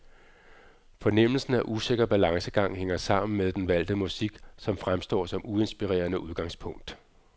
Fornemmelsen af usikker balancegang hænger sammen med den valgte musik, som fremstår som uinspirerende udgangspunkt.